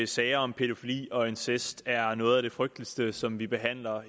sager om pædofili og incest er noget af det frygteligste som vi behandler